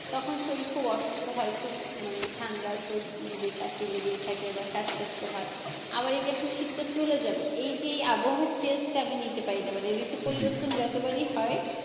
তখন শরীর খুব অসুস্থ হয় খুব মানে ঠাণ্ডা সর্দি কাশি লেগেই থাকে বা শ্বাসকষ্ট হয় আবার এইযে এখন শীতটা চলে যাবে এই যে আবহাওয়ার change টা আমি নিতে পারিনা মানে ঋতু পরিবর্তন যতবারই হয়,